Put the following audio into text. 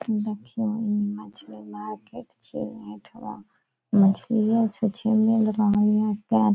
देखियो इ मछली मार्केट छीये एठामा मछलिए छुंछें मिल रहल ये ते --